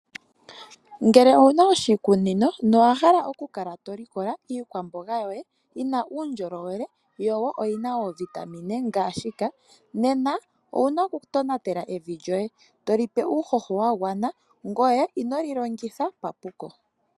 Ngele ouna oshikunino no wa hala oku kala to likola iikwamboga yoye yi na uundjolowele, yo wo oyina oovitamine ngaashika nena ouna oku tonatela evi lyoye, to li pe uuhoho wa gwana ngoye ino li longitha papuko.